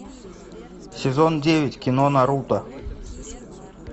сезон девять кино наруто